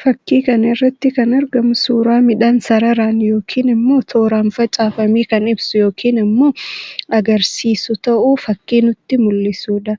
Fakkii kana irratti kan argamu suuraa midhaan sararaan yookiin immoo tooraan facaafame kan ibsu yookiin immoo agarsiisu ta'uu fakkii namatti mul'isuu dha.